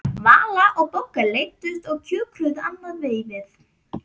Vala og Bogga leiddust og kjökruðu annað veifið.